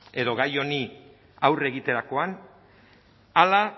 edo gai honi aurre egiterakoan ala